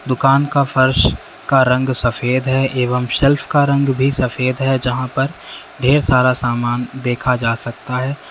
दुकान का फर्श का रंग सफेद है एवं शेल्फ का रंग भी सफेद है जहां पर ढेर सारा सामान देखा जा सकता है।